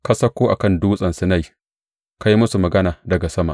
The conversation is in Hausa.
Ka sauko a kan Dutsen Sinai; ka yi musu magana daga sama.